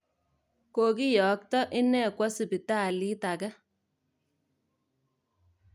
Kiokiyakta ine kwa sibitaaliit ake